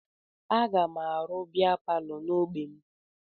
Aga m arụ bịa palọ n'ogbe m